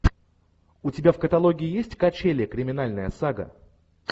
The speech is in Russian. у тебя в каталоге есть качели криминальная сага